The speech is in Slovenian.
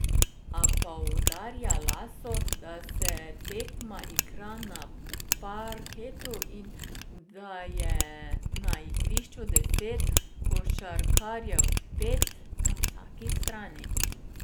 A poudarja Laso, da se tekma igra na parketu in da je na igrišču deset košarkarjev, pet na vsaki strani.